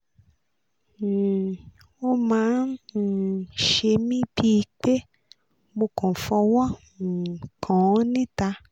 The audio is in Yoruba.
um ó máa ń um ṣe mí bíi pé mo kàn fọwọ́ um kàn án níta